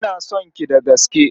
Ina son ki da gaske.